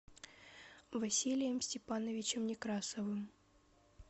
василием степановичем некрасовым